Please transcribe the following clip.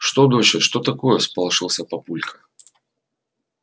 что доча что такое всполошился папулька